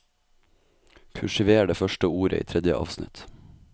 Kursiver det første ordet i tredje avsnitt